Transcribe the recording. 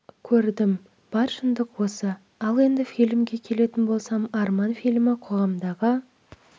көрдім бар шындық осы ал енді фильмге келетін болсам арман фильмі қоғамдағы